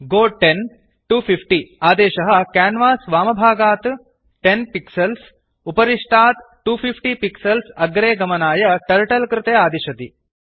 गो 10250 आदेशः क्यान्वास् वामभागात् 10 पिक्सल्स् उपरिष्टात् 250 पिक्सल्स् अग्रे गमनाय टर्टल कृते आदिशति